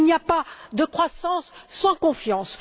Il n'y a pas de croissance sans confiance.